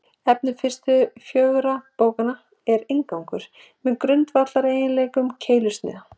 Efni fyrstu fjögurra bókanna er inngangur að grundvallareiginleikum keilusniða.